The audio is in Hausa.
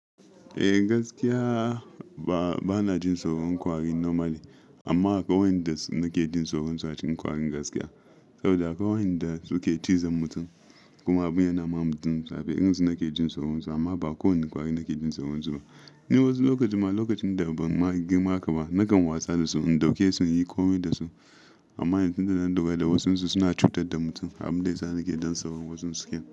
Eh gaskiya ba ba na jin tsoron kwari normally, amma akawai wayanda su nake jin tsoron su a cikin kwari gaskiya. Saboda akwai wayanda suke cizon mutum kuma abin yana ma mutum zafi. Irin su nake jin tsoron su amma ba kowane kwari nake jin tsoron su ba. Ni wasu lokaci ma lokacin da ban ma girma haka ba na kan wasa da su, in dauke su, in yi ƙomai da su. Amma yanzun da na lura da wasu su suna cutar da mutum, abin da yasa nake dan tsoron wasun su kenan.